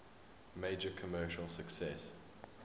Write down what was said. major commercial success